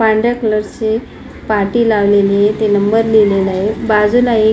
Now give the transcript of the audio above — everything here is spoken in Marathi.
पांढऱ्या कलर ची पाटी लावलेली आहे ती नंबर लिहलेला आहे बाजूला एक --